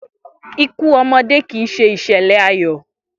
Ikú omodé kì í se ìsèlè ayò